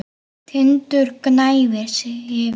Tindur gnæfir yfir.